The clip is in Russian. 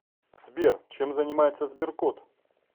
сбер чем занимается сберкот